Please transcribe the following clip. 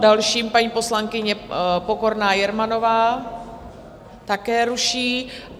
Další paní poslankyně Pokorná Jermanová... také ruší.